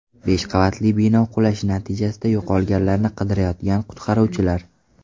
Besh qavatli bino qulashi natijasida yo‘qolganlarni qidirayotgan qutqaruvchilar.